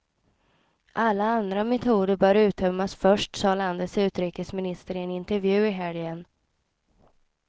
Alla andra metoder bör uttömmas först, sade landets utrikesminister i en intervju i helgen.